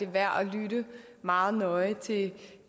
værd at lytte meget nøje til